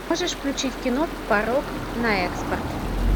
можешь включить кино порок на экспорт